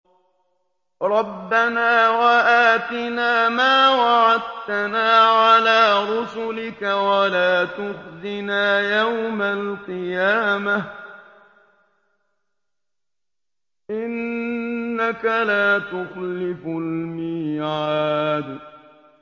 رَبَّنَا وَآتِنَا مَا وَعَدتَّنَا عَلَىٰ رُسُلِكَ وَلَا تُخْزِنَا يَوْمَ الْقِيَامَةِ ۗ إِنَّكَ لَا تُخْلِفُ الْمِيعَادَ